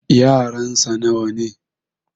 yaransa nawa ne?